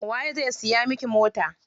Waye zai siya miki mota?